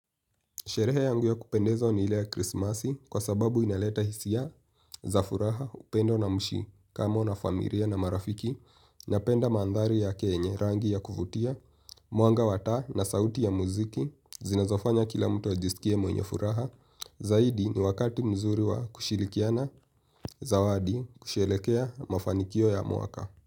Sherehe yangu ya kupendezwa ni ile ya krismasi kwa sababu inaleta hisia za furaha upendo na mshikamano na familia na marafiki napenda mandhari yake yenye rangi ya kuvutia, mwanga wa taa na sauti ya muziki zinazofanya kila mtu ajisikie mwenye furaha. Zaidi ni wakati mzuri wa kushirikiana zawadi kusherehekea mafanikio ya mwaka.